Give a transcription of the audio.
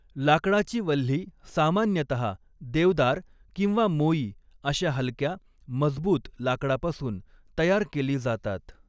लाकडाची वल्ही सामान्यतः देवदार किंवा मोई अशा हलक्या, मजबूत लाकडापासून तयार केली जातात.